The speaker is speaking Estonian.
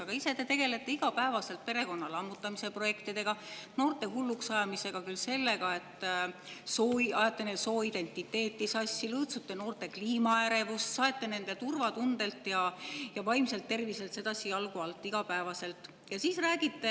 Aga ise te tegelete igapäevaselt perekonna lammutamise projektidega, noorte hulluks ajamisega küll sellega, et ajate neil sooidentiteeti sassi, noorte kliimaärevust, saete nende turvatundelt ja vaimselt terviselt sedasi iga päev jalgu alt.